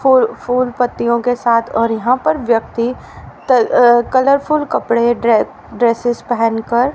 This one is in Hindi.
फूल फूल पत्तियों के साथ और यहां पर व्यक्ति क अ कलरफुल कपड़े ड्रे ड्रेससे पहन कर--